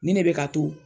Nin ne bɛ ka to